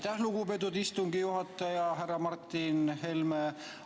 Aitäh, lugupeetud istungi juhataja, härra Martin Helme!